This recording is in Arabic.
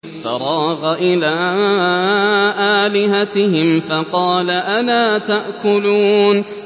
فَرَاغَ إِلَىٰ آلِهَتِهِمْ فَقَالَ أَلَا تَأْكُلُونَ